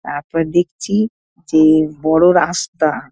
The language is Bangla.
তারপর দেখছি যে বড় রাস্তা।